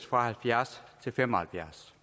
fra halvfjerds år til fem og halvfjerds